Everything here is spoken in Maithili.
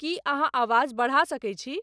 की अहाँआवाज़ बरहा सके छी